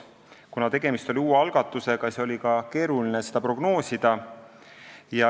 Kuna tegemist on uue algatusega, siis oli keeruline seda prognoosida.